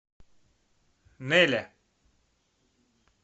нэля